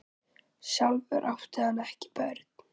Sjálfur átti hann ekki börn.